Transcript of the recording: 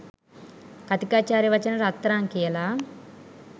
කථීකාචාර්ය වචන රත්තරන් කියල